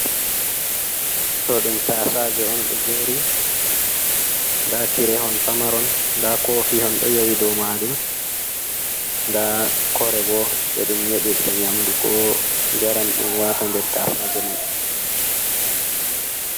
Ɗo ɗum taasaaje on ɗo jeeri, ndaa tire hon pamaron ndaa koofi hon ɗo yowi dow maajum, nda kore boo, ɗe ɗum nyeɗirta nyaamndu koo njaram ɗum waata nder taasaaje man.